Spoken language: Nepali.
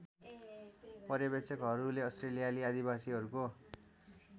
पर्यवेक्षकहरूले अस्ट्रेलियाली आदिवासीहरूको